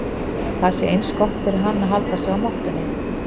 Það sé eins gott fyrir hann að halda sig á mottunni.